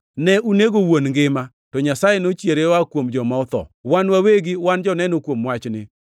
Ne unego wuon ngima, to Nyasaye nochiere oa kuom joma otho. Wan wawegi wan joneno kuom wachni.